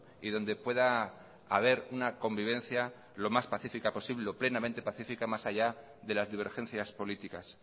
y donde pueda haber una convivencia lo más pacífica posible o plenamente pacífica más allá de las divergencias políticas